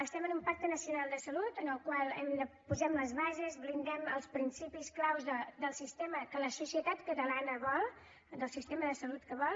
estem en un pacte nacional de salut en el qual posem les bases blindem els principis claus del sistema que la societat catalana vol del sistema de salut que vol